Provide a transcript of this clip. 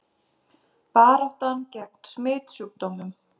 Baráttan gegn smitsjúkdómum